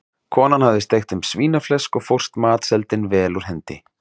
Konan hafði steikt þeim svínaflesk og fórst matseldin vel úr hendi.